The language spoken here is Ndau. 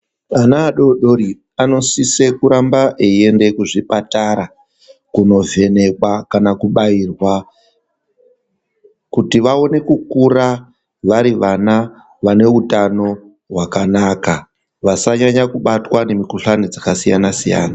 Vana vadoridori vanosisa kuramba veienda kuzvipatara kunovhenekwa kana kubairwa kuti vaone kukura vari vana vane utano hwakanaka vasanyanya kubatwa nemukuhlani dzakasiyana siyana.